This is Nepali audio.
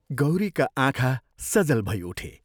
गौरीका आँखा सजल भई उठे।